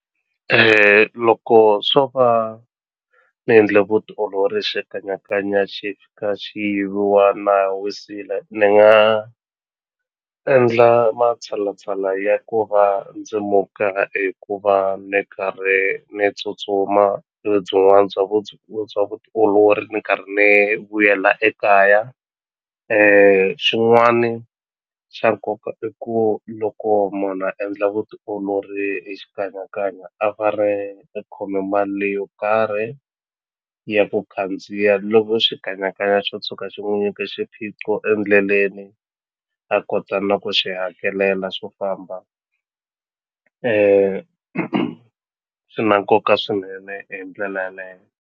Loko swo va ni endle vutiolori hi xikanyakanya xi fika xi yiviwa na ha wisile ni nga endla matshalatshala ya ku va ndzi muka hikuva ni karhi ni tsutsuma byin'wana bya bya vutiolori ni karhi ni vuyela ekaya xin'wani xa nkoka i ku loko munhu a endla vutiolori hi xikanyakanya a a khome mali leyo karhi ya ku khandziya loko xikanyakanya xo tshuka xi n'wu nyike xiphiqo endleleni a kota na ku xi hakelela swo famba swi na nkoka swinene hi ndlela yaleye.